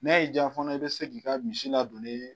Ne y'i ja fɛnɛ i be se k'i ka misi ladon ne